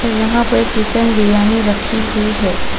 यहां पर चिकन बिरयानी रखी हुई है.